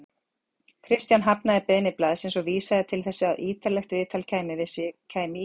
Kristján hafnaði beiðni blaðsins og vísaði til þess að ýtarlegt viðtal við sig kæmi í